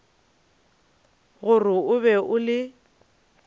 gore o be o le